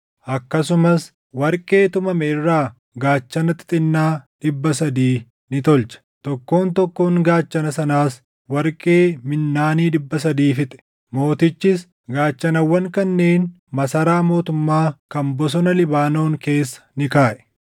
Akkasumas warqee tumame irraa gaachana xixinnaa dhibba sadii ni tolche; tokkoon tokkoon gaachana sanaas warqee minnaanii dhibba sadii fixe. Mootichis gaachanawwan kanneen masaraa mootummaa kan Bosona Libaanoon keessa ni kaaʼe.